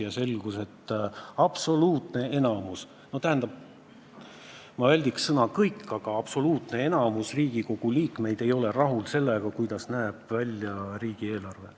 Ja selgus, et absoluutne enamik – ma väldiksin sõna "kõik" –, aga absoluutne enamik Riigikogu liikmeid ei ole rahul sellega, kuidas näeb välja riigieelarve.